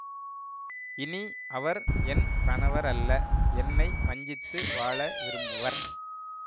இனி அவர் என் கணவரல்ல என்னை வஞ்சித்து வாழ விரும்புவர்